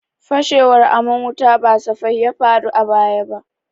Fashewar aman wuta ba safai ya faru ba a baya.